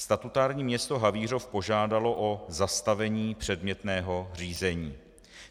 Statutární město Havířov požádalo o zastavení předmětného řízení.